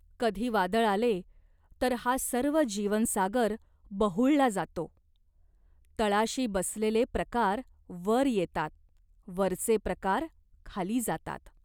कधी वादळ आले तर हा सर्व जीवनसागर बहुळला जातो. तळाशी बसलेले प्रकार वर येतात, वरचे प्रकार खाली जातात.